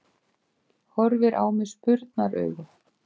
Horfir á mig spurnaraugum.